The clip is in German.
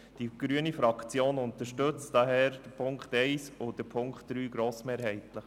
Die grüne Fraktion unterstützt daher die Punkte 1 und 3 grossmehrheitlich.